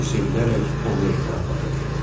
O sevinərək onu evinə aparır.